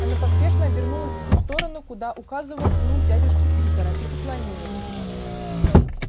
она поспешно обернулась в ту сторону куда указывал кнут дядюшки питера и поклонилась